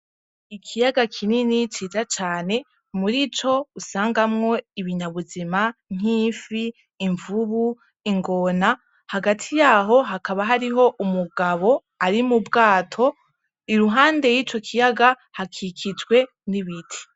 Ikiyaga kinini ciza cane muri co usangamwo ibinyabuzima nkimfi imvubu ingona hagati yaho hakaba hariho umugabo ari mu bwato iruhande y'ico kiyaga hakikijwe n'ibiti.